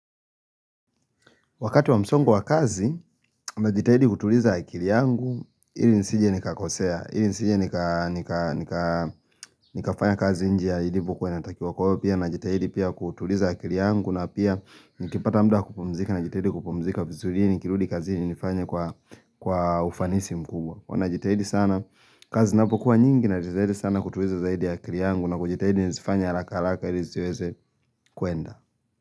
Wakati wa msongo wa kazi, najitahidi kutuliza akili yangu, ili nisije nikakosea, ili nisije nika nikafanya kazi nje ya ilivyokuwa inatakiwa kwa huwa pia najitahidi pia kutuliza akili yangu na pia nikipata muda wa kupumzika najitahidi kupumzika vizuri ili nikirudi kazini nifanye kwa ufanisi mkubwa. Huwa najitahidi sana, kazi zinapokuwa nyingi najitahidi sana kutuliza zaidi akili yangu na kujitahidi nizifanye haraka haraka ili ziweze kuenda.